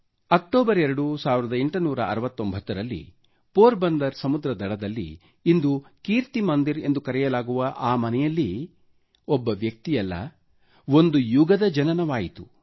2 October 1869ರಲ್ಲಿ Porbandar ಸಮುದ್ರದ ದಡದಲ್ಲಿ ಇಂದು ಕೀರ್ತಿ ಮಂದಿರ್ ಎಂದು ಕರೆಯಲಾಗುವ ಆ ಮನೆಯಲ್ಲಿ ಒಬ್ಬ ವ್ಯಕ್ತಿಯಲ್ಲ ಒಂದು ಯುಗದ ಜನನವಾಯಿತು